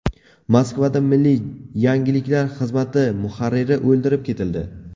Moskvada milliy yangiliklar xizmati muharriri o‘ldirib ketildi.